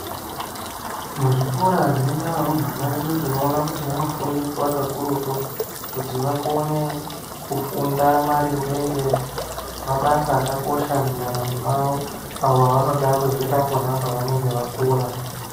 Muzvikora zvinoenda varumbwana vedu, tinowona kuti vanofundiswa kakurutu kuti vakone kufunda maringe ngemabasa akakosha mundaramo mavo. Avo vanoda kuzoita apo ne apo vakura.